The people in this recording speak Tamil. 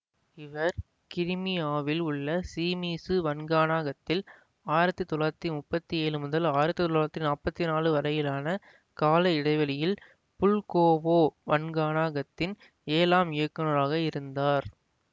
இவர் கிரீமியாவில் உள்ள சீமீசு வன்காணகத்தில் ஆயிரத்தி தொள்ளாயிரத்தி முப்பத்தி ஏழு முதல் ஆயிரத்தி தொள்ளாயிரத்தி நாப்பத்தி நாலு வரையிலான கால இடைவெளியில் புல்கோவோ வான்காணகத்தின் ஏழாம் இயக்குநராக இருந்தார்